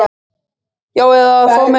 Já eða að fá mér lögfræðing.